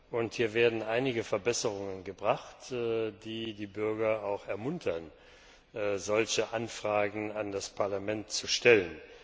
und hier werden einige Verbesserungen gemacht, die die Bürger auch ermuntern, solche Anfragen an das Parlament zu stellen.